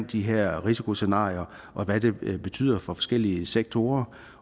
de her risikoscenarier og hvad det betyder for forskellige sektorer